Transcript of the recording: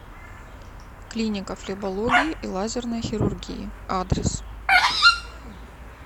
клиника флебологии и лазерной хирургии адрес